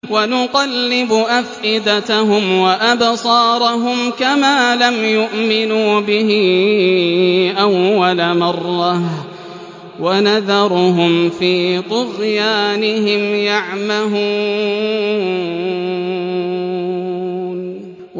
وَنُقَلِّبُ أَفْئِدَتَهُمْ وَأَبْصَارَهُمْ كَمَا لَمْ يُؤْمِنُوا بِهِ أَوَّلَ مَرَّةٍ وَنَذَرُهُمْ فِي طُغْيَانِهِمْ يَعْمَهُونَ